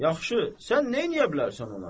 Yaxşı, sən neynəyə bilərsən ona?